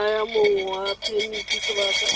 naya mong wa phemiti sebaka